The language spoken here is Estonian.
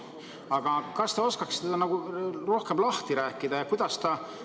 Aga kas te oskate seda ka rohkem lahti rääkida?